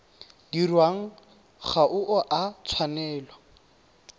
dirwang ga o a tshwanela